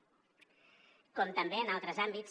com també en altres àmbits